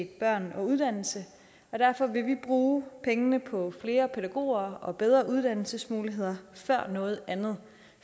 børn og uddannelse og derfor vil vi bruge pengene på flere pædagoger og bedre uddannelsesmuligheder før noget andet